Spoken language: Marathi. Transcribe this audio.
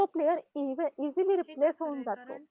तर अ basically सगळ्यांना पण सगळ्यांना गाव आवडत असेल.तर अ